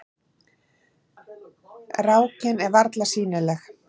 Rákin er varla sýnileg.